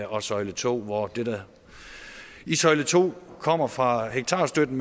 og søjle to hvor det der i søjle to kommer fra hektarstøtten